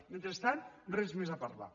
mentrestant res més a parlar